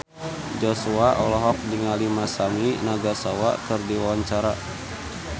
Joshua olohok ningali Masami Nagasawa keur diwawancara